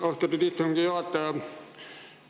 Austatud istungi juhataja!